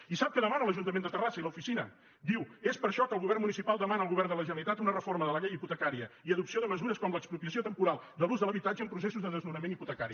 i sap què demanen l’ajuntament de terrassa i l’oficina diu és per això que el govern municipal demana al govern de la generalitat una reforma de la llei hipote·cària i adopció de mesures com l’expropiació temporal de l’ús de l’habitatge en processos de desnonament hi·potecari